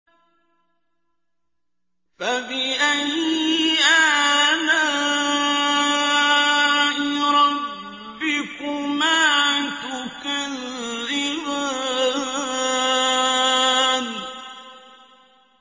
فَبِأَيِّ آلَاءِ رَبِّكُمَا تُكَذِّبَانِ